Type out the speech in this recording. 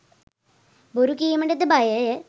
බොරු කීමටද බයය